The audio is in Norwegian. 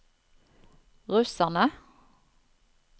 russerne